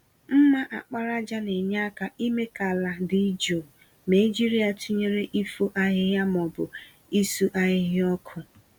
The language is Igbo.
mma àkpàràjà na-enye aka ime ka àlà dị jụụ, ma e jiri ya tụnyere ifo ahịhịa ma ọ bụ isu ahịhịa ọkụ.